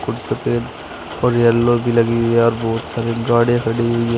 कुछ सफ़ेद और येलो भी लगी हुई हैं और बोहोत सारी गाड़ियाँ खड़ी हुई हैं।